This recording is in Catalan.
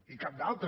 i cap d’altre